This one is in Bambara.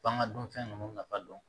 Pan ka dunfɛn ninnu nafa dɔn